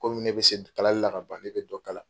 Komi ne bɛ se kalali la kaban ne bɛ dɔ kala.